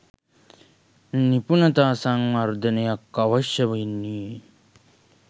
නිපුණතා සංවර්ධනයක් අවශ්‍ය වෙන්නේ.